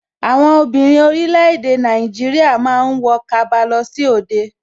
Àwọn obìnrin orílẹ̀ èdè Nàìjíríà ma ń wọ kaba lọ sí òde